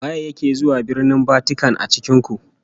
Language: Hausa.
Waye yake zuwa Birnin Vatican a cikin ku?